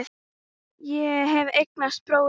Ég hef eignast bróður.